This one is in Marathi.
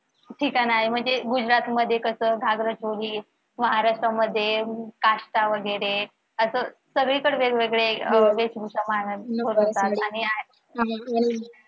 ठिकाण आहे म्हणजे गुजरातमध्ये कस घागरा चोली महाराष्ट्रामध्ये काष्टा वगैरे असं सगळीकडे वेगवेगळे वेशभूषा मानव मिरवतात आणि अह